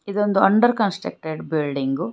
ಇದೊಂದು under constructed building .